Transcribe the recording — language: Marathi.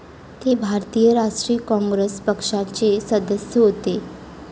ते भारतीय राष्ट्रीय काँग्रेस पक्षाचे सदस्य होते.